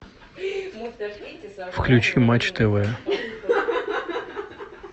включи матч тв